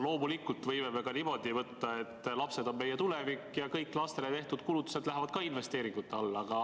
Loomulikult võime me ka niimoodi võtta, et lapsed on meie tulevik ja kõik lastele tehtud kulutused lähevad ka investeeringute alla.